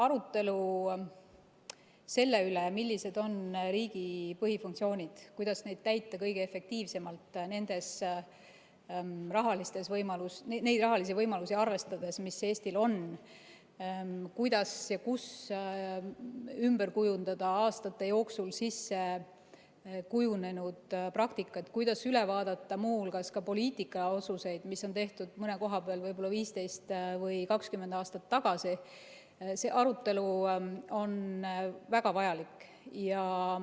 Arutelu selle üle, millised on riigi põhifunktsioonid, kuidas neid täita kõige efektiivsemalt neid rahalisi võimalusi arvestades, mis Eestil on, kuidas ja kus ümber kujundada aastate jooksul kujunenud praktikat, kuidas muu hulgas üle vaadata poliitilisi otsuseid, mis on mõnes valdkonnas tehtud võib-olla 15 või 20 aastat tagasi, on väga vajalik.